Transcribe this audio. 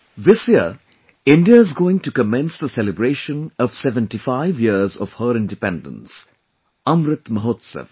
this year, India is going to commence the celebration of 75 years of her Independence Amrit Mahotsav